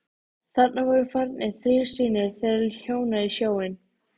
Þarna voru farnir þrír synir þeirra hjóna í sjóinn.